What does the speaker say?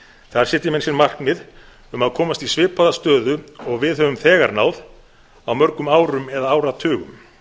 þar setja menn sér markmið um að komast í svipaða stöðu og við höfum þegar náð á mörgum árum eða áratugum